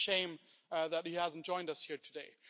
So it's a shame that he hasn't joined us here today.